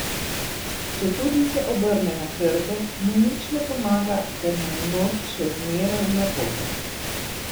Četudi se obrne na hrbet, mu nič ne pomaga, ker mu je nos še zmeraj v napoto.